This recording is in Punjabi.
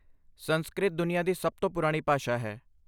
ਸੰਸਕ੍ਰਿਤ ਦੁਨੀਆਂ ਦੀ ਸਭ ਤੋਂ ਪੁਰਾਣੀ ਭਾਸ਼ਾ ਹੈ।